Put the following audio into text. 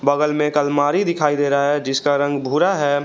बगल में एक अलमारी दिखाई दे रहा है जिसका रंग भूरा है।